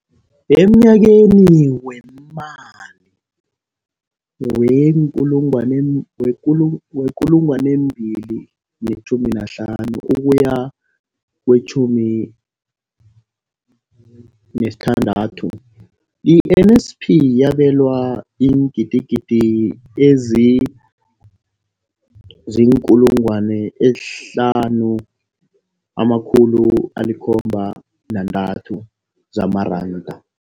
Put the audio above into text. Emnyakeni weemali we-2015 ukuya kewe-16, i-NSNP yabelwa iingidigidi ezi-5 703 zamaranda.